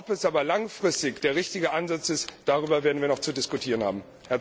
Ob es aber langfristig der richtige Ansatz ist, darüber werden wir noch zu diskutieren haben.